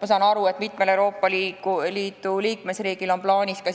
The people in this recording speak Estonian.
Ma saan aru, et mitmel Euroopa Liidu riigil on plaanis ka